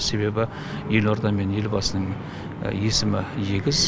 себебі елорда мен елбасының есімі егіз